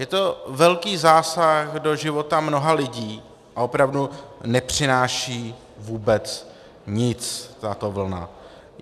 Je to velký zásah do života mnoha lidí a opravdu nepřináší vůbec nic tato vlna.